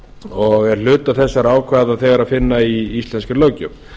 og er hluta þessara ákvæða þegar að finna í íslenskri löggjöf